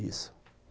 Isso.